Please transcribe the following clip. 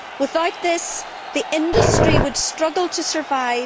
Without this, the industry would struggle to survive.